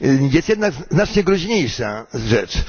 Jest jednak znacznie groźniejsza rzecz.